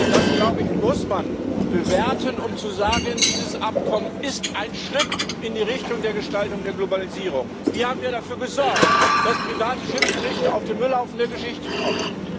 Das, glaube ich, muss man bewerten, um zu sagen Dieses Abkommen ist ein Schritt in die Richtung der Gestaltung der Globalisierung. Wir haben ja dafür gesorgt, dass private Schiedsgerichte auf den Müllhaufen der Geschichte kommen.